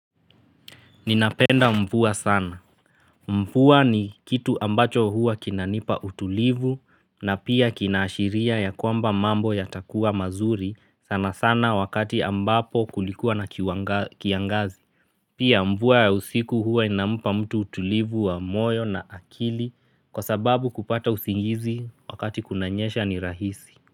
Ninapenda mvua sana. Mvua ni kitu ambacho huwa kinanipa utulivu na pia kina ashiria ya kwamba mambo yatakuwa mazuri sana sana wakati ambapo kulikuwa na kiangazi. Pia mvua ya usiku huwa inampa mtu utulivu wa moyo na akili kwa sababu kupata usingizi wakati kunanyesha ni rahisi.